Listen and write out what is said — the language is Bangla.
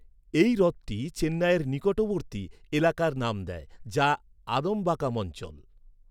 এই হ্রদটি চেন্নাইয়ের নিকটবর্তী এলাকার নাম দেয়, যা আদমবাকাম অঞ্চল।